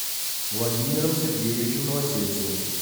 владимиром сергеевичем новосельцевым